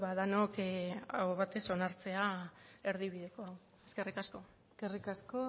denok aho batez onartzea erdibidekoa eskerrik asko eskerrik asko